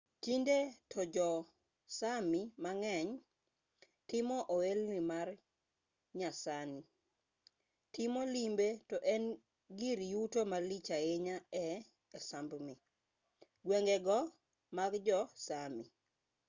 tinde to jo-sámi mang'eny timo ohelni ma nyasani. timo limbe to en gir yuto malich ahinya ei sápmi gwengego mag jo-sámi